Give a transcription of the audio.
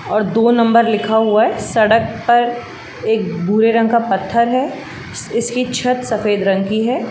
और दो नंबर लिखा हुआ है। सड़क पर एक बुरे रंग का पत्थर है। स्-इसकी छत सफेद रंग की है।